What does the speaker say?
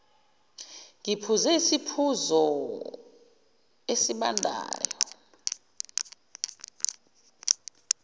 ngiphuze isiphuzo esibandayo